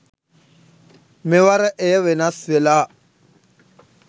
මෙවර එය වෙනස් වෙලා.